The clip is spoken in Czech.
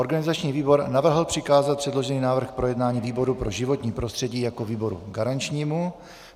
Organizační výbor navrhl přikázat předložený návrh k projednání výboru pro životní prostředí jako výboru garančnímu.